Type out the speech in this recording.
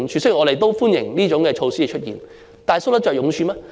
雖然我們歡迎這些措施，但它們搔得着癢處嗎？